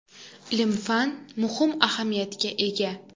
Ilm-fan muhim ahamiyatga ega.